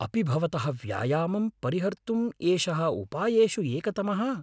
अपि भवतः व्यायामं परिहर्तुम् एषः उपायेषु एकतमः?